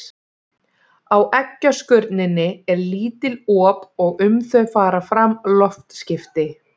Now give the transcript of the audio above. Á eggjaskurninni eru lítil op og um þau fara fram loftskipti.